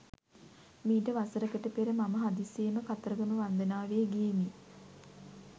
මීට වසරකට පෙර මම හදිසියේම කතරගම වන්දනාවේ ගියෙමි.